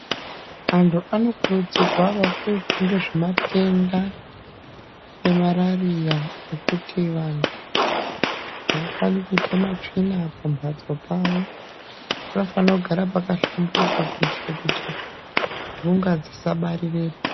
Antu anokurudzirwa kuziva nezvematenda emararia nekuti vantu havafani kuite matsvina mambatso pavo panofanogara pakahlamburuka kuitira kuti ntunga dzisabarirepo.